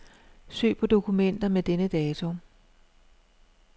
Søg på dokumenter med denne dato.